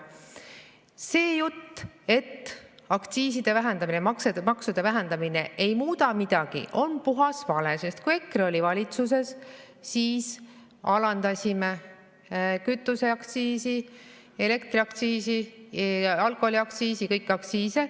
See jutt, et aktsiiside vähendamine, maksude vähendamine ei muuda midagi, on puhas vale, sest kui EKRE oli valitsuses, siis alandasime kütuseaktsiisi, elektriaktsiisi, alkoholiaktsiisi ja kõiki aktsiise.